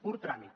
pur tràmit